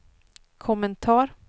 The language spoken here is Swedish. kommentar